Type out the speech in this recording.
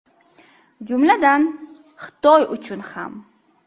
Jumladan, Xitoy uchun ham.